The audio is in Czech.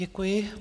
Děkuji.